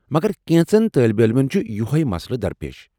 مگر کینٛژن طٲلب علمن چھ یۄہے مسلہٕ درپیش ۔